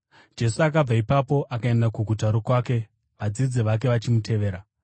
Jesu akabva ipapo akaenda kuguta rokwake, vadzidzi vake vachimutevera.